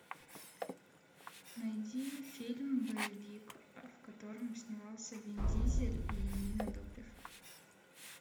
найди фильм боевик в котором снимался вин дизель и нина добрев